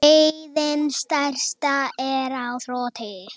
Neyðin stærsta er á þroti.